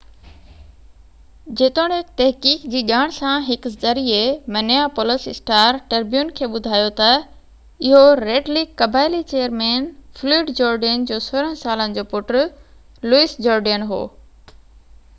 جيتوڻيڪ تحقيق جي ڄاڻ سان هڪ ذريعي منيئيپولس اسٽار-ٽربيون کي ٻڌايو ته اهو ريڊ ليڪ قبائلي چيئرمين فلوئڊ جورڊين جو 16 سالن جو پٽ لوئس جورڊين هو